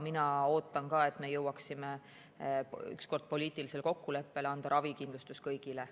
Mina ootan ka, et me jõuaksime ükskord poliitilisele kokkuleppele anda ravikindlustus kõigile.